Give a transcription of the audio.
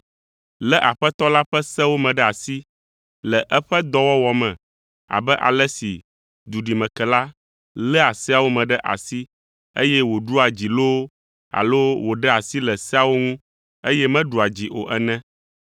Lé Aƒetɔ la ƒe sewo me ɖe asi le eƒe dɔwɔwɔ me abe ale si duɖimekela léa seawo me ɖe asi eye wòɖua dzi loo alo wòɖea asi le seawo ŋu, eye meɖua dzi o ene.